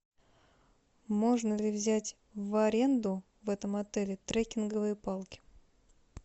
можно ли взять в аренду в этом отеле треккинговые палки